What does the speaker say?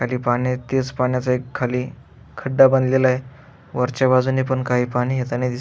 खाली पाणीय त्याच पाण्याच खाली खड्डा बनलेलाय वरच्या बाजून पण काही पाणी येतानी दिस --